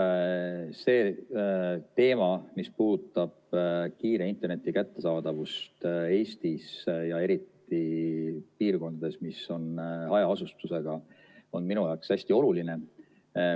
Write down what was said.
See teema, mis puudutab kiire interneti kättesaadavust Eestis ja eriti piirkondades, mis on hajaasustusega, on minu jaoks hästi oluline.